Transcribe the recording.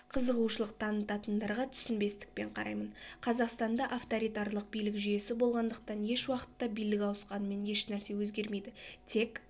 қызығушылық танытатындарға түсінбестікпен қараймын қазақстанда авторитарлық билік жүйесі болғандықтан ешуақытта билік ауысқанымен ешнәрсе өзгермейді тек